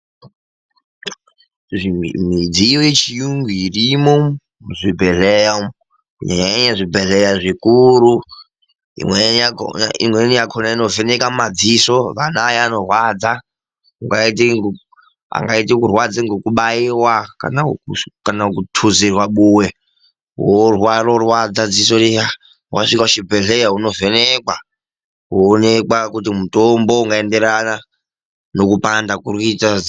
Midziyo yechiyungu irimo muzvibhedhlera kunyanya nyanya zvibhedhlera zvikuru. Imweni yakhona inovheneka mumadziso angadayi anorwadza. Angaite kurwadza ngekubaiwa kana kuthuzirwa buwe rorwadza dziso riya. Wasvika kuchibhedhlera, unovhenekwa kuonekwa kuti mutombo ungaenderana nekupanda kurikuita dziso.